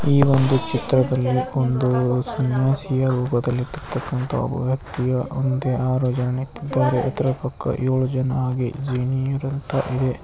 ಈ ಒಂದು ಚಿತ್ರದಲ್ಲಿ ಒಂದು ಸನ್ಯಾಸಿಯ ರೂಪದಲ್ಲಿ ಇರತಕ್ಕನಂತಹ ಒಬ ವ್ಯಕ್ತಿಯ ಇದರ ಪಕ್ಕ ಏಳು ಜನ ..